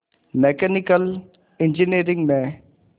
mechanical engineering में